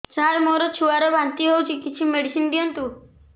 ସାର ମୋର ଛୁଆ ର ବାନ୍ତି ହଉଚି କିଛି ମେଡିସିନ ଦିଅନ୍ତୁ